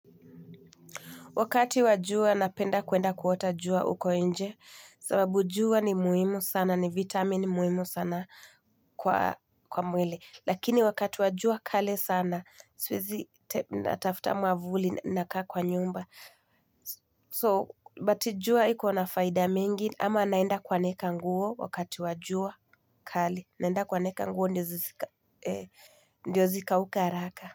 Wakati wajua napenda kuenda kuota jua uko inje. Sababu jua ni muhimu sana, ni vitamin muhimu sana kwa mwili. Lakini wakati wa jua kali sana, siwezi natafuta mwavuli na kaa kwa nyumba. So, but jua iko na faida mingi. Ama naenda kuanika nguo wakati wa jua kali. Naenda kuanika nguo ndio zikauke haraka.